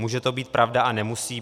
Může to být pravda a nemusí.